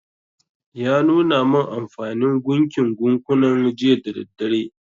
Ya nuna min anfanin gunkin gunkunan jiya da daddare